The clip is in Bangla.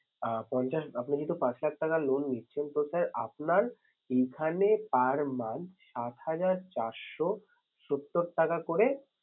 আঁ পঞ্চাশ আপনি যেহেতু পাঁচ লাখ টাকা loan নিচ্ছেন তো sir আপনার এইখানে per month সাত হাজার চারশো সত্তর টাকা করে